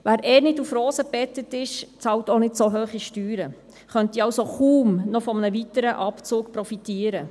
Wer eh nicht auf Rosen gebettet ist, bezahlt auch nicht so hohe Steuern und könnte somit kaum von einem weiteren Abzug profitieren.